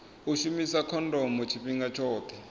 u shumisa khondomo tshifhinga tshoṱhe